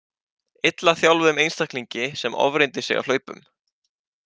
Illa þjálfuðum einstaklingi sem ofreyndi sig á hlaupum.